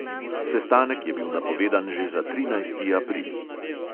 Sestanek je bil napovedan že za trinajsti april.